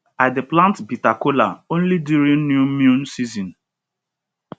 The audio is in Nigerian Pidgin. i dey plant bitter kola only during new moon season